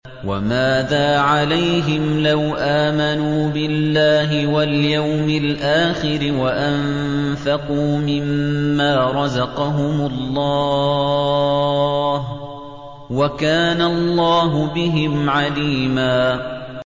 وَمَاذَا عَلَيْهِمْ لَوْ آمَنُوا بِاللَّهِ وَالْيَوْمِ الْآخِرِ وَأَنفَقُوا مِمَّا رَزَقَهُمُ اللَّهُ ۚ وَكَانَ اللَّهُ بِهِمْ عَلِيمًا